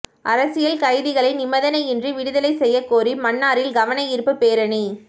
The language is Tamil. அரசியல் கைதிகளை நிபந்தனை இன்றி விடுதலை செய்யக் கோரி மன்னாரில் கவனயீர்ப்பு பேரணி